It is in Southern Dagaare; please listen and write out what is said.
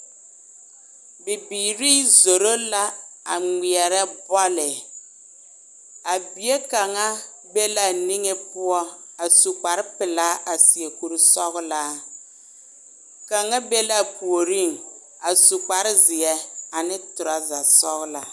Bibiiri zoro la a ŋmeɛre bɔle, a bie kaŋa be la a niŋɛ poɔ a su kpar pelaa a seɛ mankur sɔglaa kaŋa be la a puoriŋ a su kpare zeɛ ane trousa sɔglaa.